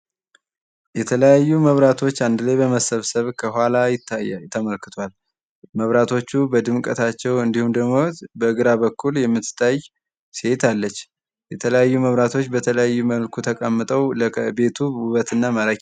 የተለያዩ መብራቶች አንድ ላይ በመሰብሰብ ከኋላ ይታያል። መብራቶቹ በድምቀታቸው በግራ በኩል የምትታይ ሴት አለች። የተለያዩ መብራቶች በተለያየ መልኩ ተቀምጠው ለቤቱ ውበትና ማራኪ።